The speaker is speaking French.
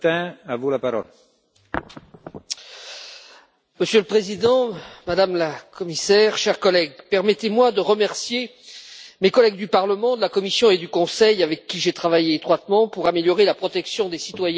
Monsieur le Président, Madame la Commissaire, chers collègues, permettez moi de remercier mes collègues du Parlement, de la Commission et du Conseil avec qui j'ai travaillé étroitement pour améliorer la protection des citoyens européens contre les effets néfastes du mercure.